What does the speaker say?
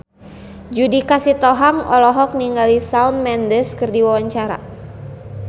Judika Sitohang olohok ningali Shawn Mendes keur diwawancara